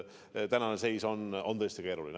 Tänane seis on tõesti keeruline.